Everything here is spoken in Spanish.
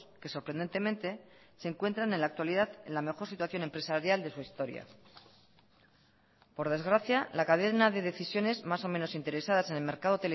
que sorprendentemente se encuentran en la actualidad en la mejor situación empresarial de su historia por desgracia la cadena de decisiones más o menos interesadas en el mercado